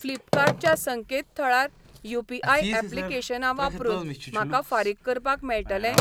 Flipkart च्या संकेतथळार UPI. ऍप्लिकेशनां वापरून म्हाका फारीक करपाक मेळटलें?